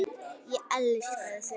Ég elskaði þau.